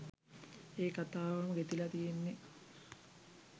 ඒ කතාවම ගෙතිලා තියෙන්නේ